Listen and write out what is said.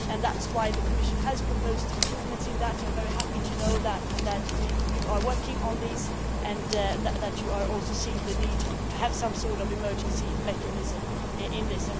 That is why the Commission has proposed improvements, and I am very happy to know that you are working on these and that you are also seeing the need to have some sort of emergency mechanism in this.